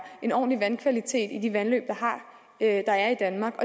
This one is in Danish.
en ordentlig vandkvalitet i de vandløb der er i danmark